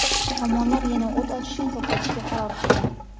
tomonlar yana o‘t ochishni to‘xtatishga qaror qildi.